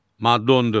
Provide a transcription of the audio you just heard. Maddə 14.